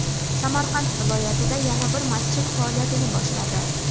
Samarqand viloyatida yana bir masjid faoliyatini boshladi.